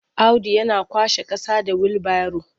Audu yana kwashe ƙasa da wilbaro.